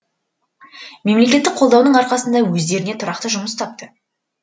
мемлекеттік қолдаудың арқасында өздеріне тұрақты жұмыс тапты